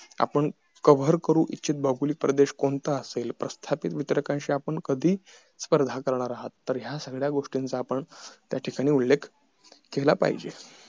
आपण coverage करू इच्छित भौगोलिक प्रदेश कोणता असेल प्रस्थापित वित्रकाशी आपण कादशी स्पाइध करणार आहेत या सगळ्या गोष्टीचा आपण त्या ठिकाणी उल्लेख केला पाहिजेत